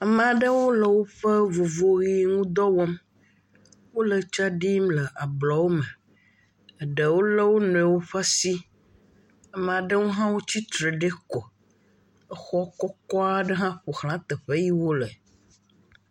amaɖewo le wóƒe vovoɣi ŋdɔ wɔm wóle tsa ɖim le ablɔwo me ɖewo le woniɔwo ƒe si amaɖewo hã wó tsitre ɖi ko exɔ kɔkɔ ɖe hã ƒoxlã teƒe yi wóle